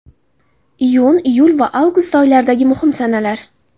Iyun, iyul va avgust oylaridagi muhim sanalar.